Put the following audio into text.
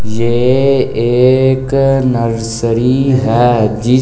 यह एक नर्सरी है जिसमें ।